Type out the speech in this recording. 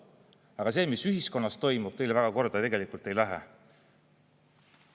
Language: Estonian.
Aga see, mis ühiskonnas toimub, teile väga korda ei lähe.